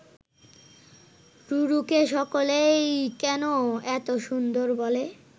রুরুকে সকলেই কেন এত সুন্দর বলে